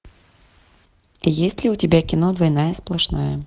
есть ли у тебя кино двойная сплошная